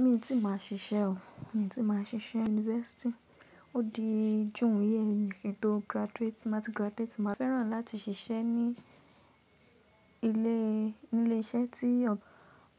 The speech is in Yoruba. Mi ò tí ì máa ṣiṣẹ́ o, mi ò tí ì máa ṣiṣẹ́ university. Ó di jù ìyẹn kí n tó graduate. Tí máa ti graduate, màá fẹ́ràn láti ṣiṣẹ́ ní ilé, ní ilé iṣẹ́ tí